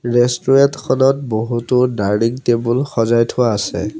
ৰেষ্টোৰেণ্টখন ত বহুতো ডাৰ্নিং টেবুল সজাই থোৱা আছে।